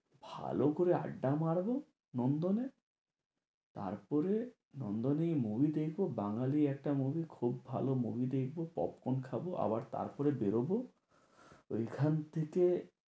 ভাল করে আড্ডা মারবো নন্দনে। তারপরে নন্দনেই movie দেখবো। বাঙালি একটা movie খুব ভালো movie দেখবো, popcorn খাবো, আবার তারপরে বেরোবো ওইখান থেকে।